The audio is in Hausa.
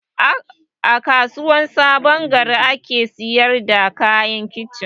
A kasuwar sabongari ake siyar da kayan kicin